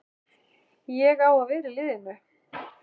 Ég á að vera í liðinu!